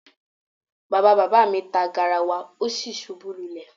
Baba agba mi ta garawa o si ṣubu lulẹ